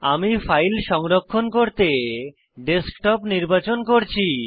আমি ফাইল সংরক্ষণ করতে ডেস্কটপ নির্বাচন করছি